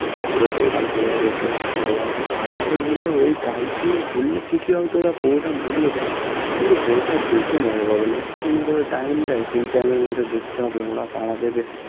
পুরোপুরিটা ভালোভাবে উপভোগ করা যায় গাড়িতে গেলে ঐ গাড়ি নিয়ে ঘুরলে ঠিকই হয়তো বাপুরোটা ঘুরিয়ে দেয় কিন্তু পুরোটা দেখে মজা পাবে না একটু ক্ষণ করে time দেয় সেই time এর মধ্যে দেখতে হবে ওরা তাড়া দেবে